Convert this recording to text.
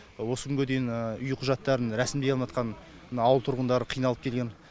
осы күнге дейін үй құжаттарын рәсімдей алмаятқан ауыл тұрғындары қиналып келген